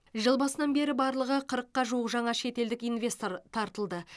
жыл басынан бері барлығы қырыққа жуық жаңа шетелдік инвестор тартылды